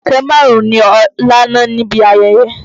Ọ̀kẹ́ márùn-ún ni Ọlá ná níbi ayẹyẹ.